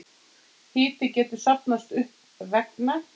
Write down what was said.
Hiti getur safnast upp vegna